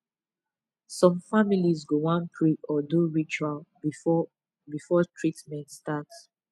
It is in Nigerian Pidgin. some families go wan pray or do ritual before before treatment start